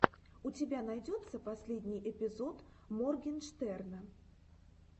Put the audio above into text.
у тебя найдется последний эпизод моргенштерна